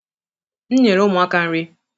m nyere ụmụaka nri